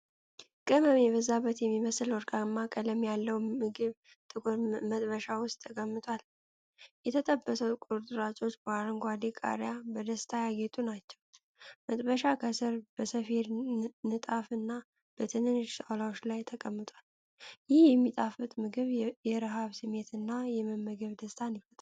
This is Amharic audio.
ቅመም የበዛበት የሚመስል ወርቃማ ቀለም ያለው ምግብ ጥቁር መጥበሻ ውስጥ ተቀምጧል። የተጠበሱት ቁርጥራጮች በአረንጓዴ ቃሪያ በደስታ ያጌጡ ናቸው። መጥበሻው ከስር በሰፌድ ንጣፍና በትንንሽ ጣውላዎች ላይ ተቀምጧል። ይህ የሚጣፍጥ ምግብ የረሃብ ስሜትንና የመመገብን ደስታ ይፈጥራል።